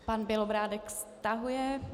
Pan Bělobrádek stahuje.